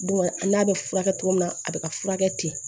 Bon an n'a bɛ furakɛ cogo min na a bɛ ka furakɛ ten